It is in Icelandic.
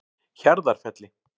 Hjarðarfelli